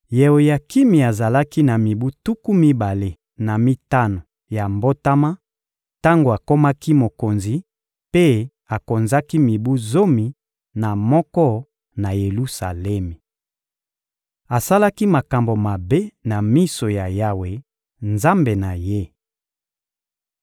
Yeoyakimi azalaki na mibu tuku mibale na mitano ya mbotama tango akomaki mokonzi, mpe akonzaki mibu zomi na moko na Yelusalemi. Asalaki makambo mabe na miso ya Yawe, Nzambe na ye.